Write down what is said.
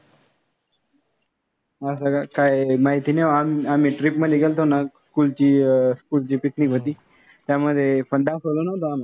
असं का? काय माहिती नाही. आम्ही trip मध्ये गेलतो ना, school ची अह school ची picnic होती. त्यामध्ये पण दाखवलं नव्हतं आम्हाला.